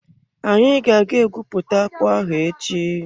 Anyi ga-aga egwupụta akpụ ahụ echi.